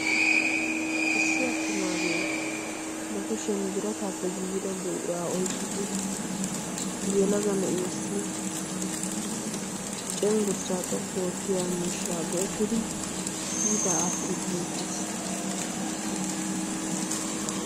issi attumaagee ba kushiyan birataappe giida buraa oiqqidi yelaga na7iyessi cenggurssaa xoqqu oottiya mishshaa go7ettidi kiitaa aattiidi beettees.